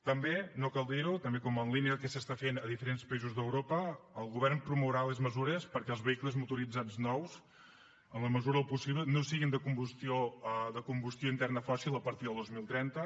també no cal dir ho en línia del que es fa en diferents països d’europa el govern promourà les mesures perquè els vehicles motoritzats nous en la mesura del possible no siguin de combustió interna fòssil a partir del dos mil trenta